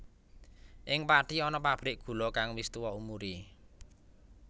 Ing Pathi ana pabrik gula kang wis tuwa umure